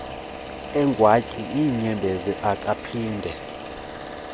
egwantyi iinyembezi akaphinde